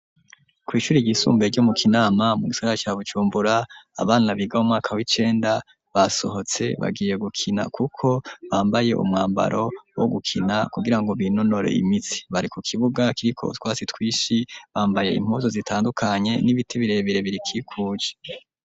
Kw'ishure ry'isumbuye ryo mu kinama mu gisagara ca bujumbura abana biga mu mwaka w'icenda basohotse bagiye gukina kuko bambaye umwambaro wo gukina kugirango binonore imitsi, bari ku kibuga kiriko utwasi twishi bambaye impuzu zitandukanye n'ibiti birebire birikikuje.